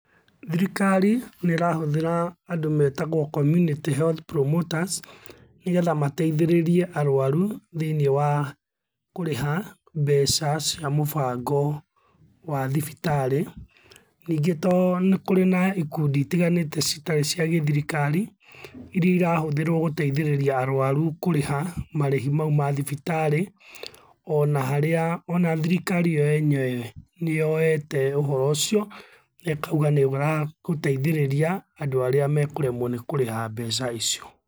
Thirikari nĩrahũthĩra andũ metagwo community health promoters nĩgetha mateithĩrĩrie arwarũ thĩiniĩ wa kũrĩha mbeca cia mũbango wa thibitarĩ. Ningĩ to nĩkũrĩ na ikũndi itiganĩte citarĩ cia gĩthirikari iria irahũthĩrwo gũteithĩrĩria arwarũ kũrĩha marĩhi maũ mathibitarĩ onaharĩa ona thirikari iyo yenyewe niyoete ũhoro ucio nekauga nĩugagũteithĩrĩria andũ arĩa mekũremwo nĩ kũrĩha mbeca icio.